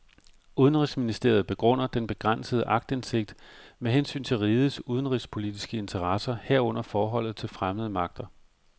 Udenrigsministeriet begrunder den begrænsede aktindsigt med hensyn til rigets udenrigspolitiske interesser, herunder forholdet til fremmede magter.